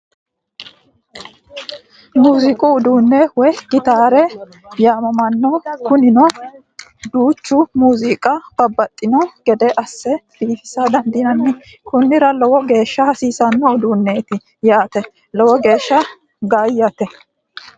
Muziiqu uduune woye gitaare yaamamano Kunino duucha muziiqa babbaxino gede ASE biifisa dandaano kunnira lowo geesha hasiisano uduuneeti yaate lowo geeshshi gaayaati